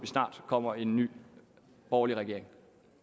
snart kommer en ny borgerlig regering